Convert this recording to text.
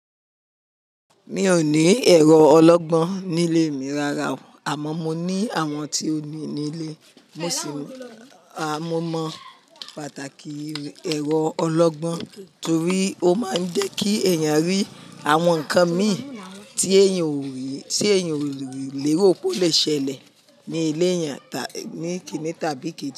Mi ò ní ẹ̀rọ ọlọ́gbọ́n nílé mi rara, àmọ́ mo ní àwọn tí ó ní nílé. Mo sì mọ, a mo mọ pàtàkì ẹ̀rọ ọlọ́gbọ́n torí ó máa ń jẹ́ kí èèyàn rí àwọn nǹkan mìíràn tí èèyàn ò lè ro pe ó le ṣẹlẹ̀ ní ilé èèyàn, ní kìíní tàbí kí.